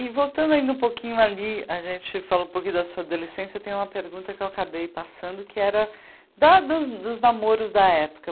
E voltando ainda um pouquinho ali, a gente falou um pouquinho da sua adolescência, tem uma pergunta que eu acabei passando, que era da dos dos namoros da época.